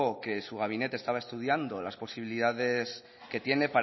que su gabinete estaba estudiando las posibilidades que tiene